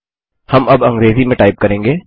हम अब अंग्रेजी में टाइप करेंगे